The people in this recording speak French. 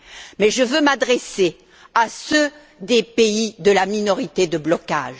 Mais je veux m'adresser à ceux des pays de la minorité de blocage.